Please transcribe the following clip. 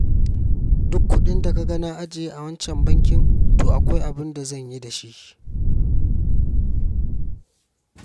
Duk kuɗin da ka ga na ajiye a wancan bankin, to akwai abin da zan yi da shi.